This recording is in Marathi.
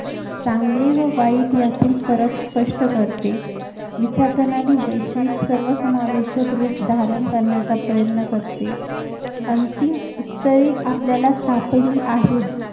चांगले व वाईट यातील फरक स्पष्ट करते विचारप्रणाली वैश्विक सर्व समावेशक रूप धारण करण्याचा प्रयत्न करते अंतिम उत्तरे आपल्याला सापडली आहेत